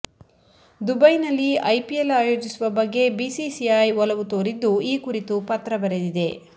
ದುಬೈನಲ್ಲಿ ಐಪಿಎಲ್ ಆಯೋಜಿಸುವ ಬಗ್ಗೆ ಬಿಸಿಸಿಐ ಒಲವು ತೋರಿದ್ದು ಈ ಕುರಿತು ಪತ್ರ ಬರೆದಿದೆ